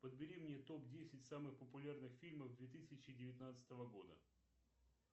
подбери мне топ десять самых популярных фильмов две тысячи девятнадцатого года